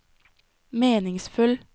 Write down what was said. meningsfull